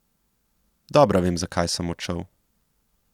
Dobro vem, zakaj sem odšel.